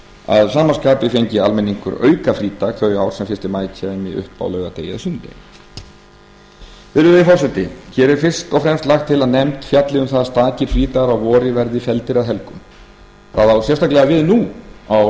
að sama skapi fengi almenningur aukafrídag þau ár sem fyrsta maí kæmi upp á laugardegi eða sunnudegi virðulegi forseti hér er fyrst og fremst lagt til að nefnd fjalli um það að stakir frídagar að vori verði felldir að helgum það á sérstaklega við nú á